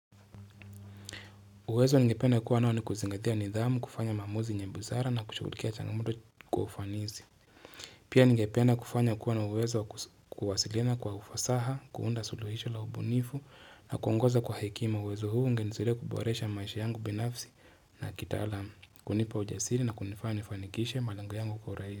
Uwezo ngepena kuwa nao ni kuzingatia nidhamu, kufanya mamuzi nyebuzara na kushukulikia changamudu kufanizi. Pia ngepena kufanya kuwa na uwezo kuhasilina kwa ufasaha, kuunda suluhisho la ubu nifu na kuongoza kwa hekima. Uwezo huu ngezule kuboresha maishi yangu binafsi na kitalamu. Kunipa ujasiri na kunifanya nifanikishe malango yangu kwa uraiza.